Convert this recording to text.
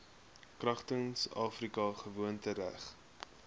kragtens afrika gewoontereg